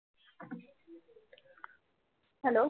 hello